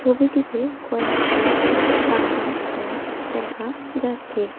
ছবিটিতে কয়েকটি পাকা ঘর দেখা যাচ্ছে।